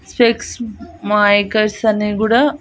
sex makers అని గుడా